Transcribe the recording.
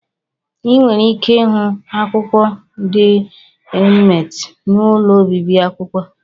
Ị nwere ike ịhụ akwụkwọ dị emti n'ụlọ obibi akwụkwọ.